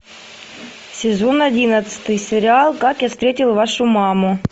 сезон одиннадцатый сериал как я встретил вашу маму